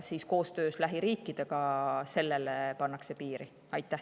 Koostöös lähiriikidega püütakse sellele piiri panna.